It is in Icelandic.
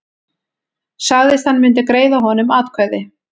Sagðist hann myndi greiða honum atkvæði